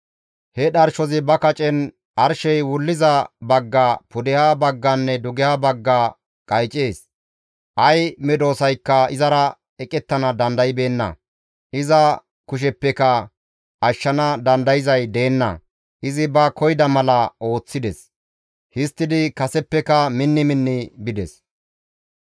He dharshozi ba kacen arshey wulliza bagga, pudeha bagganne dugeha bagga qaycees; ay medosaykka izara eqettana dandaybeenna; iza kusheppeka ashshana dandayzay deenna; izi ba koyida mala ooththides; histtidi kaseppeka minni minni bides.